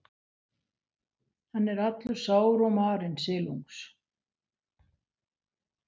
Hann er allur sár og marinn, silungs